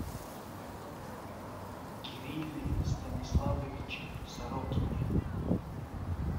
кирилле станиславовиче сорокине